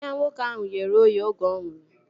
Anya nwoke ahụ ghere oghe oge ọ nwụrụ